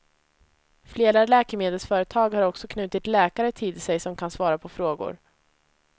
Flera läkemedelsföretag har också knutit läkare till sig som kan svara på frågor.